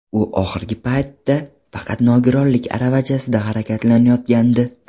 U oxirgi paytda faqat nogironlik aravachasida harakatlanayotgandi.